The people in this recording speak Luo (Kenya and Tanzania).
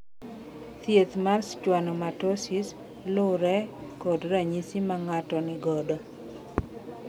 Thieth mar schwannomatosis lure kod ranyisi mang`ato nigodo.